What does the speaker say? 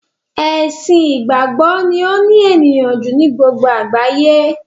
Ẹ̀sìn ìgbàgbọ́ ni ó ní ènìyàn ju ni gbogbo àgbáyé